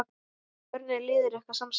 Hvernig er liðið ykkar samsett?